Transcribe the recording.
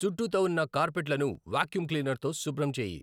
చుట్టూత ఉన్న కార్పెట్లను వాక్యూమ్ క్లీనర్తో శుభ్రం చేయి